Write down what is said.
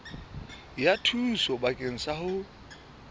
ya thuso bakeng sa ho